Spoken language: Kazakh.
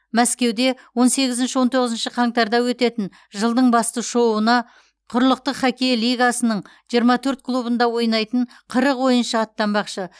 мәскеуде он сегізінші он тоғызыншы қаңтарда өтетін жылдың басты шоуына құрлықтық хоккей лигасының жиырма төрт клубында ойнайтын қырық ойыншы аттанбақшы